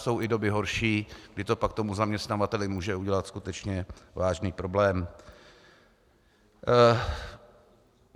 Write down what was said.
Jsou i doby horší, kdy to pak tomu zaměstnavateli může udělat skutečně vážný problém.